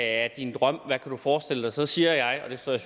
er din drøm hvad kan du forestille dig så siger jeg og det står jeg